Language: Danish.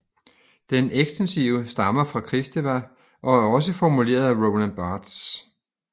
Den ekstensive stammer fra Kristeva og er også formuleret af Roland Barthes